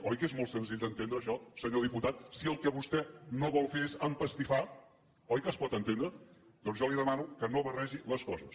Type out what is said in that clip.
oi que és molt senzill d’entendre això senyor diputat si el que vostè no vol fer és empastifar oi que es pot entendre doncs jo li demano que no barregi les coses